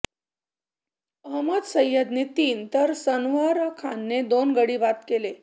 अहमद सय्यदने तीन तर सनवर खानने दोन गडी बाद केले